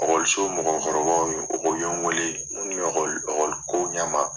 ɔkɔliso mɔgɔkɔrɔbaw o ye n wele minnu ɔkɔli ɔkɔli ko ɲɛma.